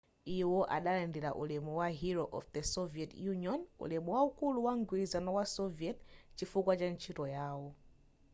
iwo adalandira ulemu wa hero of the soviet union' ulemu waukulu wa mgwirizano wa soviet chifukwa cha ntchito yawo